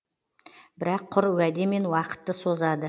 бірақ құр уәдемен уақытты созады